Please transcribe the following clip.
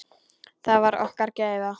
Það var okkar gæfa.